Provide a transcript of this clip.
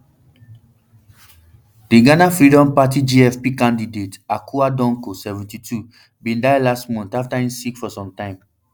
di ghana freedom party gfp candidate akua donkor seventy-two bin die last month afta im sick for sometime